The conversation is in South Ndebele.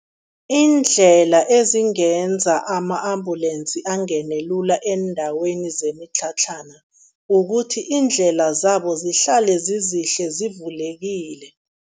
Iindlela ezingenza ama-ambulensi angene lula eendaweni zemitlhatlhana, kukuthi iindlela zabo zihlale zizihle, zivulekile.